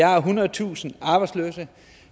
har ethundredetusind arbejdsløse